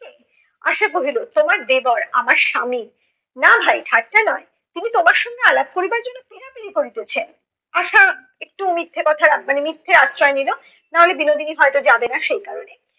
আশা কহিল তোমার দেবর, আমার স্বামী, না ভাই ঠাট্টা নয়। তিনি তোমার সঙ্গে আলাপ করিবার জন্য পিরাপিরি করিতেছেন। আশা একটু মিথ্যা কথার মানে মিথ্যের আশ্রয় নিল। নাহলে বিনোদিনী হয়ত যাবে না সেই কারণে।